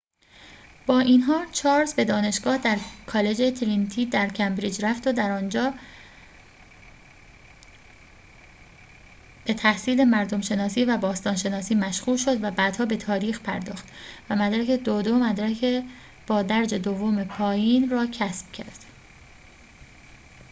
با این حال، چارلز به دانشگاه در کالج ترینیتی در کمبریج رفت و در آنجا به تحصیل مردم‌شناسی و باستان‌شناسی مشغول شد، و بعدها به تاریخ پرداخت و مدرک 2:2 مدرک با درجه دوم پایین را کسب کرد